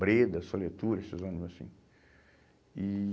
Breda, Soletura, esses ônibus assim. E